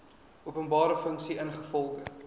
openbare funksie ingevolge